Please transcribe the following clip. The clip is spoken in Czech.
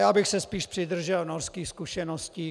Já bych se spíš přidržel norských zkušeností.